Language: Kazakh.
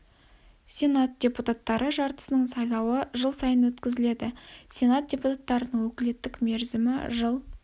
сенат депутаттары жартысының сайлауы жыл сайын өткізіледі сенат депутаттарының өкілеттік мерзімі жыл